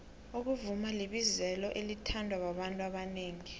ukuvuma libizelo elithandwa babantu abanengi